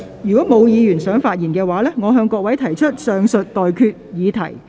如果沒有議員想發言，我現在向各位提出上述待決議題。